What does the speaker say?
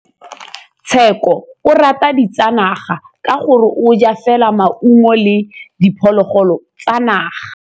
Tshekô o rata ditsanaga ka gore o ja fela maungo le diphologolo tsa naga.